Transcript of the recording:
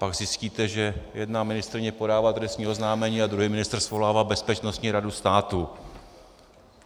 Pak zjistíte, že jedna ministryně podává trestní oznámení a druhý ministr svolává Bezpečnostní radu státu.